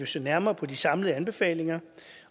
se nærmere på de samlede anbefalinger